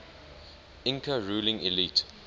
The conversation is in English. inca ruling elite